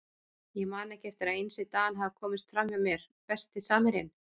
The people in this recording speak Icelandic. Ég man ekki eftir að Einsi Dan hafi komist fram hjá mér Besti samherjinn?